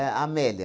A Amélia.